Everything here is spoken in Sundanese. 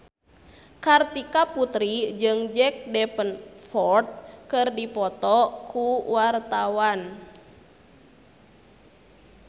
Kartika Putri jeung Jack Davenport keur dipoto ku wartawan